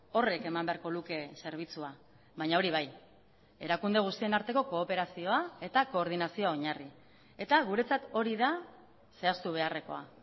horrek eman beharko luke zerbitzua baina hori bai erakunde guztien arteko kooperazioa eta koordinazioa oinarri eta guretzat hori da zehaztu beharrekoa